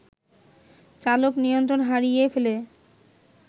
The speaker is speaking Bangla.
চালক নিয়ন্ত্রণ হারিয়ে ফেলে